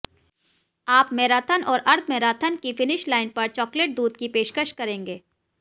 आप मैराथन और अर्ध मैराथन की फिनिश लाइन पर चॉकलेट दूध की पेशकश करेंगे